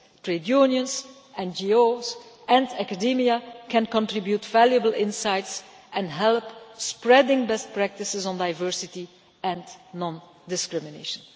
Trade unions, NGOs and academia can contribute valuable insights and help in spreading best practices on diversity and non discrimination.